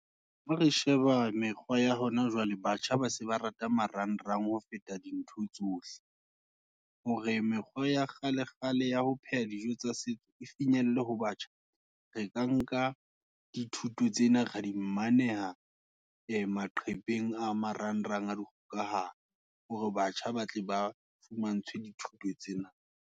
Ha re sheba mekgwa ya hona jwale, batjha ba se ba rata marang rang, ho feta dintho tsohle, hore mekgwa ya kgale kgale, ya ho pheha dijo tsa setso, e finyelle ho batjha. Re ka nka dithuto tsena, re dimaneha, e maqepheng a marang rang a dikgokahano, hore batjha ba tle ba, fumantshwe dithuto tsena.